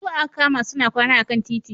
Su wa aka kama suna kwana a kan titi?